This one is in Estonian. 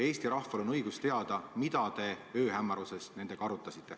Eesti rahval on õigus teada, mida te ööhämaruses nendega arutasite.